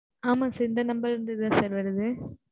ஆமா sir இந்த number ல இருந்து தான் sir வருது.